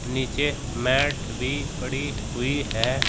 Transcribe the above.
नीचे मैट भी पड़ी हुई है।